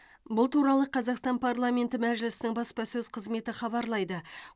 бұл туралы қазақстан парламенті мәжілісінің баспасөз қызметі хабарлайды